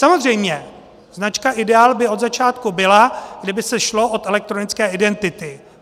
Samozřejmě, značka ideál by od začátku byla, kdyby se šlo od elektronické identity.